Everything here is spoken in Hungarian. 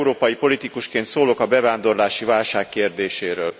Magyar európai politikusként szólok a bevándorlási válság kérdéséről.